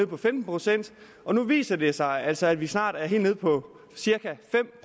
på femten procent og nu viser det sig altså at vi snart er helt nede på cirka fem